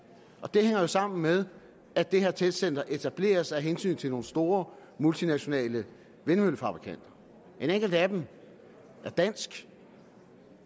det hænger jo sammen med at det her testcenter etableres af hensyn til nogle store multinationale vindmøllefabrikanter en enkelt af dem er dansk